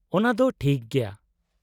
-ᱚᱱᱟᱫᱚ ᱴᱷᱤᱠ ᱜᱮᱭᱟ ᱾